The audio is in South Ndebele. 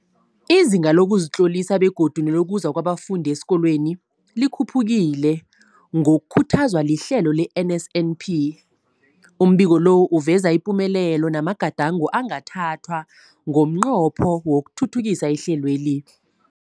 Izinga lokuzitlolisa begodu nelokuza kwabafundi esikolweni likhuphukile ngokukhuthazwa lihlelo le-NSNP. Umbiko lo uveza ipumelelo namagadango angathathwa ngomnqopho wokuthuthukisa ihlelweli.